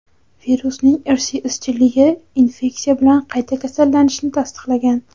Virusning irsiy izchilligi infeksiya bilan qayta kasallanishni tasdiqlagan.